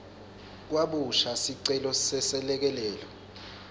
kabusha sicelo seselekelelo